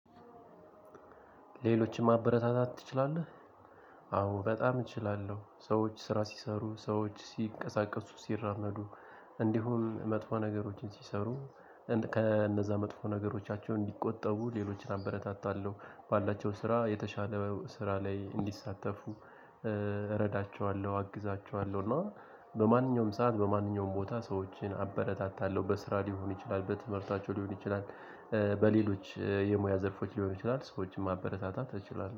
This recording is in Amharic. ሌሎችም ማበረታታት ትችላለህ? አዎ በጣም እችላለሁ። ሰዎች ስራ ሲሰሩ ሰዎች ሲንቀሳቀሱ ሲራመዱ እንዲሁም መጥፎ ነገሮችን ሲሰሩ ከእነዛ መጥፎ ነገሮቻቸው እንዲቆጠቡ ሌሎችን አበረታታለሁ። ባላቸው ስራ የተሻለ ስራ ላይ እንዲሳተፉ እረዳቸዋለሁ፣ አግዛቸዋለሁ እና በማንኛውም ሰዓት በማንኛውም ቦታ ሰዎችን አበረታታለሁ በስራ ሊሆን ይችላል በትምህርታቸው ሊሆን ይችላል። በሌሎች የሙያ ዘርፎች ልሆን ይችላል። ሰዎችን ማበረታታት እችላለሁ።